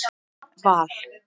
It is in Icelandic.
Val